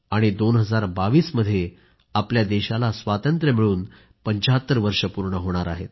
आणि 2022 मध्ये आपल्या देशाला स्वातंत्र्य मिळून 75 वर्ष पूर्ण होणार आहेत